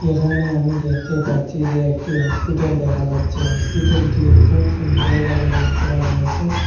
এখানে আমি দেখতে পাচ্ছি যে একটি হসপিটাল দেখা যাচ্ছে হসপিটালটি খুব সুন্দর বাবে রং করা রয়েসে।